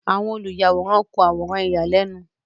Awọn oluyaworan kun aworan iyalẹnu